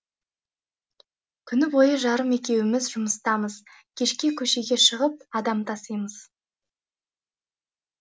күні бойы жарым екеуіміз жұмыстамыз кешке көшеге шығып адам тасимыз